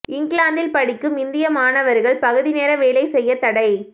இங்கிலாந்தில் படிக்கும் இந்திய மாணவர்கள் பகுதி நேர வேலை செய்ய தடை